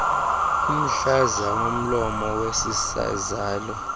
umhlaza womlomo wesizalo